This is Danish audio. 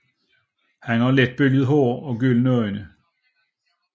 Han har let bølget blond hår og gyldne øjne